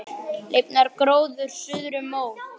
Lifnar gróður suðri mót.